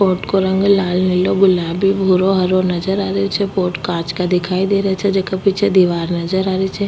बोत को रंग लाल नीलो गुलाबी भूरो हरो नजर आ रेहो छे बोत कांच को दिखाई दे रेहो छे जेका पीछे दीवार नज़र आ री छे।